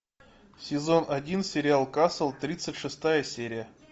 сезон один сериал касл тридцать шестая серия